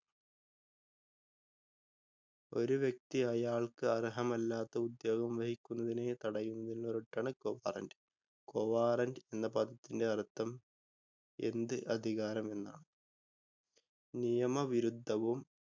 ഒരു വ്യക്തി അയാള്‍ക്ക് അര്‍ഹമല്ലാത്ത ഉദ്യോഗം വഹിക്കുന്നതിന് തടയുന്നതിനുള്ള writ ആണ് Quo Warranto. Quo Warranto എന്ന പദത്തിന്റെ അര്‍ത്ഥം 'എന്ത് അധികാരം' എന്നാണ്. നിയമ വിരുദ്ധവും